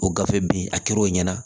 O gafe bin a kɛr'o ɲɛna